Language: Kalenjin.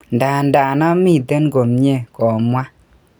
Ndadan amiten ko mie,"komwa.